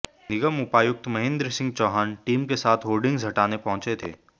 निगम उपायुक्त महेंद्र सिंह चौहान टीम के साथ होर्डिंग्स हटाने पहुंचे थे